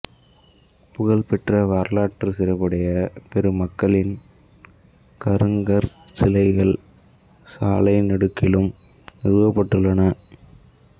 புகழ்பெற்ற வரலாற்றுச் சிறப்புடைய பெருமக்களின் கருங்கற் சிலைகள் சாலைநெடுகிலும் நிறுவப்பட்டுள்ளன